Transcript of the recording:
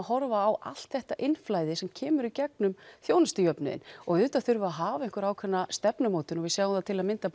horfa á allt þetta innflæði sem kemur í gegnum þjónustujöfnuðinn og auðvitað þurfum við að hafa ákveðna stefnumótun við sjáum það til að mynda